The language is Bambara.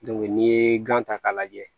n'i ye gan ta k'a lajɛ